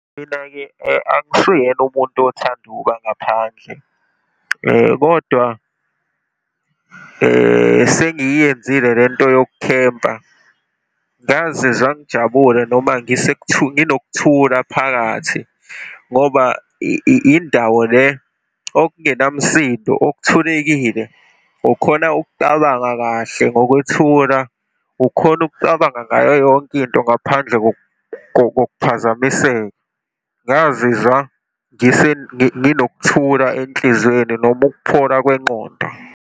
Mina-ke angisiyena umuntu othanda ukuba ngaphandle kodwa sengiyenzile lento yokukhempa. Ngazizwa ngijabule noma nginokuthula phakathi ngoba indawo le okungenamsindo, okuthulekile. Ukhona ukucabanga kahle ngokwethula, ukhone ukucabanga ngayo yonke into ngaphandle kokuphazamiseka. Ngingazizwa nginokuthula enhliziyweni noma ukuphola kwengqondo.